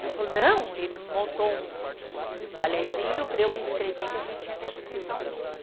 Ela falou, não, e montou um, um, um balezinho para eu me inscrever, que a gente tinha que apresentar um número.